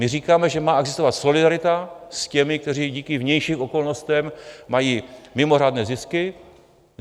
My říkáme, že má existovat solidarita s těmi, kteří díky vnějším okolnostem mají mimořádné zisky.